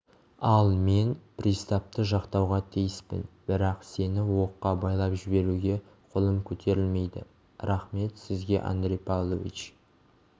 ал мен приставты жақтауға тиіспін бірақ сені оққа байлап жіберуге қолым көтерілмейді рақмет сізге андрей павлович